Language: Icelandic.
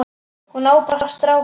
Hún á bara stráka.